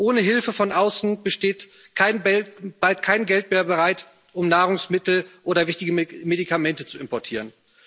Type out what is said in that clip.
Ohne Hilfe von außen steht bald kein Geld mehr bereit, um Nahrungsmittel oder wichtige Medikamente zu importieren.